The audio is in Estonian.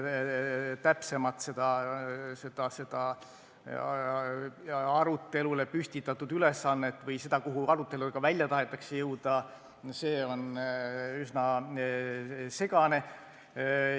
Täpsem arutelule püstitatud ülesanne või see, kuhu aruteluga välja tahetakse jõuda, on üsna segane.